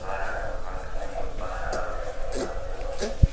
घर है और घर देखने में बहुत बड़ा है और इसमें शीशा लगे हुए खिड़की--